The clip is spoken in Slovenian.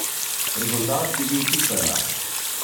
Rezultat bi bil čisto enak.